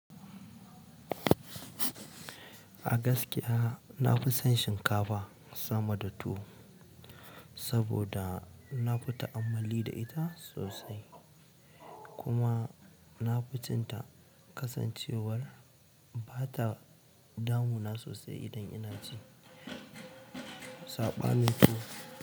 A gaskiya na fi son shinkafa sama da tuwo saboda na fi ta'ammali da ita sosai kuma na fi cin ta kasancewar ba ta damu na sosai idan ina ci. Saɓanin tuwo.